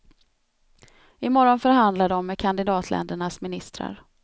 Imorgon förhandlar de med kandidatländernas ministrar.